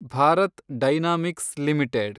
Bharat dynamics limited